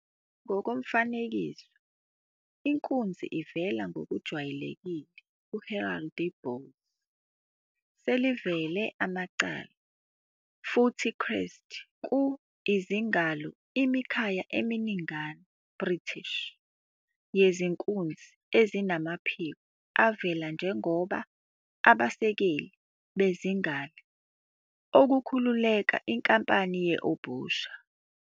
Ngokomfanekiso, inkunzi ivela ngokujwayelekile ku- heraldry. Bulls selivela amacala futhi crests ku izingalo imikhaya eminingana British. Yezinkunzi ezinamaphiko avele njengoba abasekeli e izingalo okukhulekela Inkampani ye Obhusha.